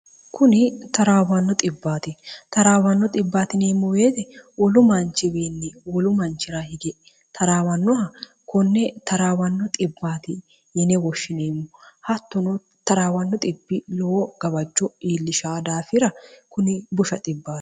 kuni taraawanno xbbaati taraawanno ibbtinimmuweeti wolu manchiwiinni wolu manchira hige taraawannoha konne taraawanno 1bbt yine woshshineemmo hattono 0rawanno bb lowo gabacho iillisha daafira kuni bush